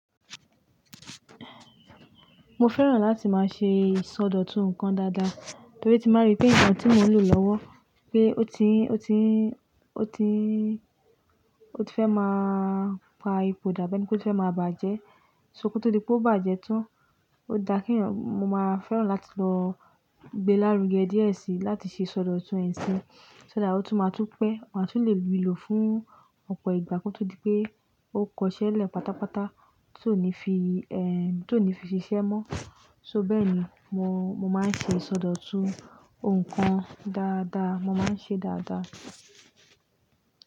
Mo fẹ́ràn láti máa ṣe ìsọdọ̀tun nǹkan dáadáa torí tí n báa rí pé nǹkan tí mò ń lò lọ́wọ́ pé ó ti n, ó ti n, ó ti n, ó ti fẹ́ máa pa ipò dà bi ẹni pé o ti fẹ́ máa bàjẹ́. So kò tó di pé ó bàjẹ́ tán, ó dà kí èèyàn mo máa fẹ́ràn láti lọ gbé lárugẹ díẹ̀ síi láti ṣe ìsọdọ̀tun ẹ̀ sí. So that ó tún máa tún pẹ́, máa tún le ri lò fún ọ̀pọ̀ ìgbà. Kò tó di pé ó kọṣẹ́ lẹ̀ pátápátá tí ò ní fi, ẹ, tí ò ní fi ṣiṣẹ́ mọ́. So bẹ́ẹ̀ ni mo, mo máa ń ṣe ìsọdọ̀tun nǹkan dáadáa, mo máa ń ṣe dáadáa.